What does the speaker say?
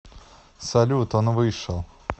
салют он вышел